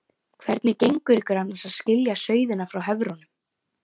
Hvernig gengur ykkur annars að skilja sauðina frá höfrunum?